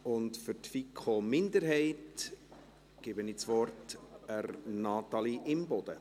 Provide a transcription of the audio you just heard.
Für die FiKo-Minderheit gebe ich das Wort an Natalie Imboden.